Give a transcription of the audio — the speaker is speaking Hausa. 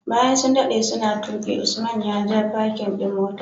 Bayan sun dade yana tuki Usman ya ja parkin ɗin motar.